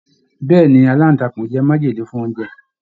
Bẹẹni, alantakun jẹ májèlé fún oúnjẹ.